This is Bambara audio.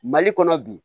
Mali kɔnɔ bi